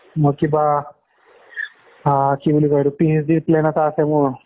মই কিবা আহ কি বুলি কয় এইটো PhD plan এটা আছে মোৰ